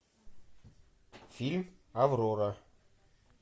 фильм аврора